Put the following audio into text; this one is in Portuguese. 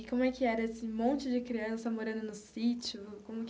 E como é que era esse monte de criança morando no sítio?